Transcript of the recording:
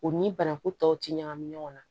U ni banaku tɔw ti ɲagami ɲɔgɔn na